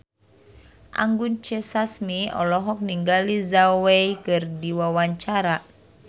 Anggun C. Sasmi olohok ningali Zhao Wei keur diwawancara